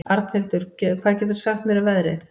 Arnhildur, hvað geturðu sagt mér um veðrið?